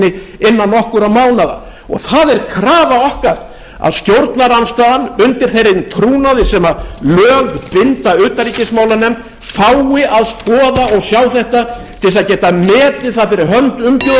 ríkisstjórninni innan nokkurra mánaða það er krafa okkar að stjórnarandstaðan undir þeim trúnaði sem lög binda utanríkismálanefnd fái að skoða og sjá þetta til að geta metið það fyrir hönd umbjóðenda okkar hvort